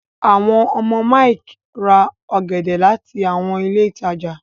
àwọn ọmọ Mike rà ògèdè láti àwọn ilé ìtàjà.